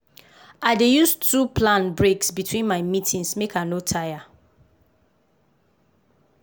i dey use too plan breaks between my meetings make i no tire.